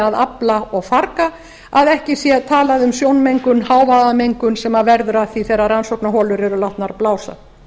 að afla og farga að ekki sé talað um sjónmengun hávaðamengun sem verður af því þegar rannsóknarholur eru látnar blása